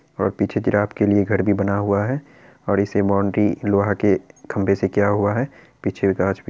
पीछे जिराफ़ के लिए घर भी बना हुआ है और इसकी बॉउन्ड्री लोहा के खंबे से किया हुआ है| पीछे गाछ --